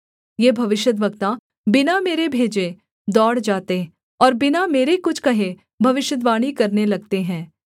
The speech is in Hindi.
ये भविष्यद्वक्ता बिना मेरे भेजे दौड़ जाते और बिना मेरे कुछ कहे भविष्यद्वाणी करने लगते हैं